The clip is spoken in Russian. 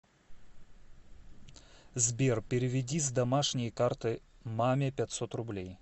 сбер переведи с домашней карты маме пятьсот рублей